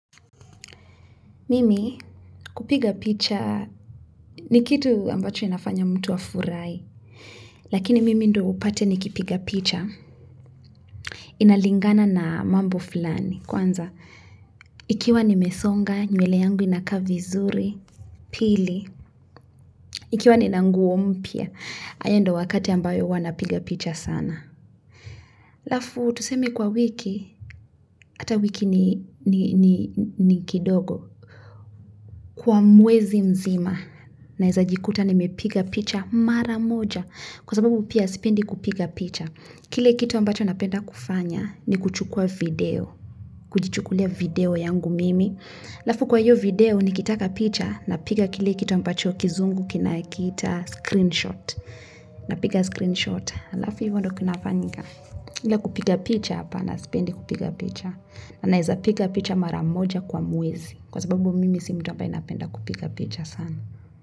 Mimi kupiga picha ni kitu ambacho inafanya mtu afurahi. Lakini mimi ndo upate ni kipiga picha. Inalingana na mambo fulani. Kwanza, ikiwa ni mesonga, nywele yangu inakaa vizuri, pili. Ikiwa ni nana nguo mpya, haya ndo wakati ambayo huwa napiga picha sana. Alafu, tusemi kwa wiki, ata wiki ni kidogo. Kwa mwezi mzima, naeza jikuta nimepiga picha maramoja, kwa sababu pia sipendi kupiga picha. Kile kitu ambacho napenda kufanya ni kuchukua video, kujichukulia video yangu mimi. Alafu kwa hyo video nikitaka picha, napiga kile kitu ambacho kizungu kina kiita screenshot, napiga screenshot. Alafu hivyo ndo kinafanyika. Ila kupiga picha hapana sipendi kupiga picha. Naezapiga picha mara moja kwa mwezi kwa sababu mimi si mtu ambaye anapenda kupiga picha sana.